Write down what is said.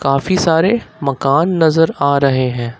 काफी सारे मकान नजर आ रहे है।